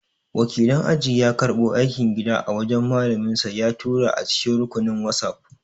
Wakilin aji ya karɓo aikin gida a wajan malaminsa ya tura a cikin rukunin whatsapp